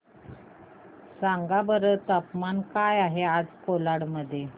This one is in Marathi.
सांगा बरं तापमान काय आहे आज कोलाड मध्ये